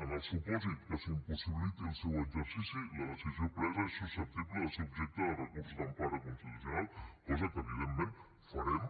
en el supòsit que s’impossibiliti el seu exercici la decisió presa és susceptible de ser objecte de recursos d’empara constitucional cosa que evidentment farem